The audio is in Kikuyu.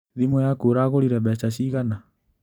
Thimũ yaku ũragũrire mbeca cigana?